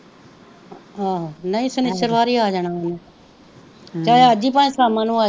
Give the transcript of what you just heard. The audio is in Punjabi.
ਆਹੋ ਨਹੀਂ ਸ਼ਨਿਚਰਵਾਰ ਹੀ ਆ ਜਾਣਾ ਓਨੇ ਚਾਏ ਅੱਜ ਹੀ ਭਾਏ ਸਾਮਾ ਨੂੰ ਆਜੇ,